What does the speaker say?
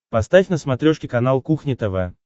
поставь на смотрешке канал кухня тв